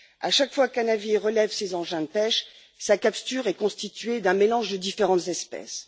Chaque fois qu'un navire relève ses engins de pêche, sa capture est constituée d'un mélange de différentes espèces.